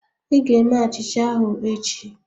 Ị ga-eme achicha ahụ echi